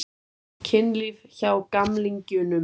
Kynlíf hjá gamlingjunum?